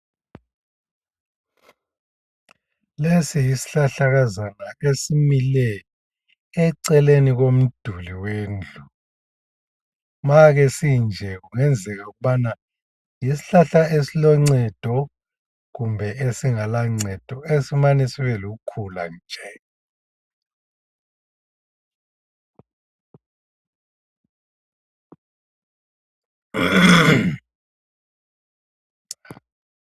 Lesi yisihlahlakazana esimile eceleni komduli wendlu. Masinje kungenzeka ukubana yisihlahla esiloncedo kumbe esingela ncedo esimane sibe lukhula nje.